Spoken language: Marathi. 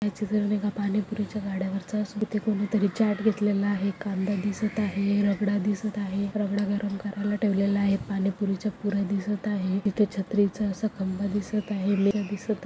या चित्र मे पाणी पुरी च्या गाड्या वरच स-तिथ कोणी तरी चॅट घेतलेलं आहे कांदा दिसत आहे रगडा दिसत आहे रगडा गरम करायला ठेवलेला आहे पाणी पुरी च्या पुर्‍या दिसत आहे इथ छत्री च अस खंबा दिसत आहे भेल दिसत आहे.